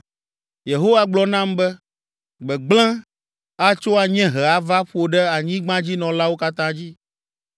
Yehowa gblɔ nam be, “Gbegblẽ atso anyiehe ava ƒo ɖe anyigbadzinɔlawo katã dzi.